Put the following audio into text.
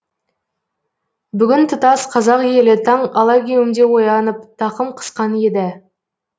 бүгін тұтас қазақ елі таң алагеуімде оянып тақым қысқан еді